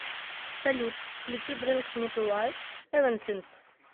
салют включи бринг ми ту лайф эвансинс